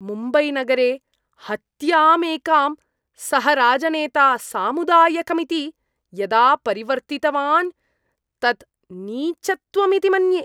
मुम्बैनगरे हत्यामेकां सः राजनेता सामुदायिकमिति यदा परिवर्तितवान् तत् नीचत्वमिति मन्ये।